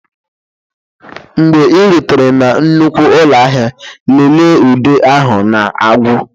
Mgbe ị rutere na nnukwu ụlọ ahịa lelee ude ahụ na-agwụ